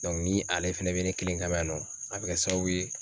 ni ale fɛnɛ bɛ ne kelen ka yan nɔ a bɛ kɛ sababu ye